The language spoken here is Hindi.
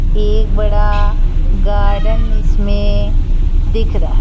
एक बड़ा गार्डन इसमें दिख रहा--